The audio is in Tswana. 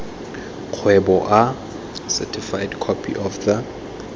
kgweboa certified copy of the